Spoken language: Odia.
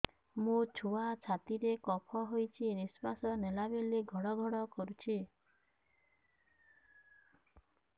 ମୋ ଛୁଆ ଛାତି ରେ କଫ ହୋଇଛି ନିଶ୍ୱାସ ନେଲା ବେଳେ ଘଡ ଘଡ କରୁଛି